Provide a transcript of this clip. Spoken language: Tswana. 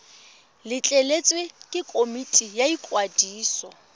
letleletswe ke komiti ya ikwadiso